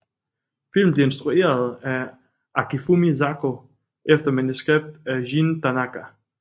Filmen blev instrueret af Akifumi Zako efter manuskript af Jin Tanaka